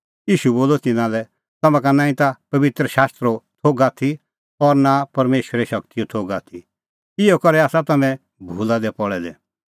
ईशू बोलअ तिन्नां लै तम्हां का नांईं ता पबित्र शास्त्रो थोघ आथी और नां परमेशरे शगतीओ थोघ आथी इहअ करै आसा तम्हैं भूला दी पल़ै दै